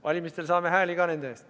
Valimistel saame hääli ka nende eest.